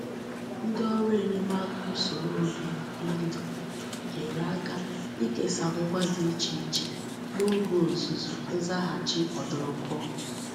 Ndi órú enyemaka usoro obi I ndu nyere aka ikesangwa di Iche iche n'oge ozuzu nzaghachi odurukuo.